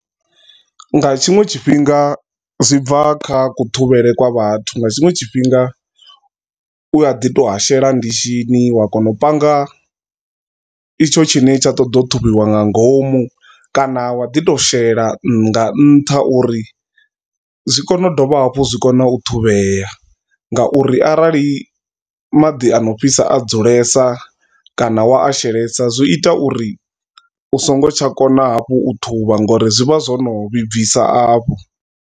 Nga tshiṅwe tshifhinga zwi bva kha kuṱhuvhele kwa vhathu nga tshiṅwe tshifhinga u a ḓi to a shela ndishini wa kona u panga itsho tshine tsha ṱoḓa u thusiwa nga ngomu, kana wa ḓi to shela nga nṱha uri zwi kone u dovha hafhu zwi kone u ṱhuvhea ngauri arali maḓi ano fhisa a dzulesa kana wa a shelesa zwi ita uri u songo tsha kona hafhu u ṱhuvha ngori zwi vha zwo no vhibvisa afho.